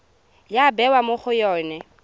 ya bewa mo go yone